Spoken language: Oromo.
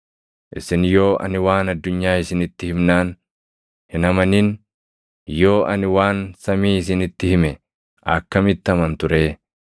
Isin yoo ani waan addunyaa isinitti himnaan hin amanin, yoo ani waan samii isinitti hime akkamitti amantu ree?